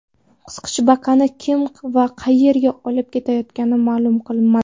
Qisqichbaqani kim va qayerga olib ketayotgani ma’lum qilinmadi.